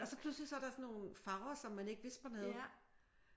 Og så pludselig så er der sådan nogle farver som man ikke vidste man havde